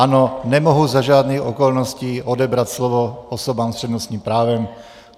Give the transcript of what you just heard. Ano, nemohu za žádných okolností odebrat slovo osobám s přednostním právem.